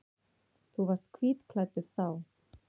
Þú varst hvítklæddur þá.